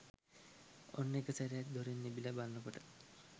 ඔන්න එකසැරයක් දොරෙන් එබිල බලනකොට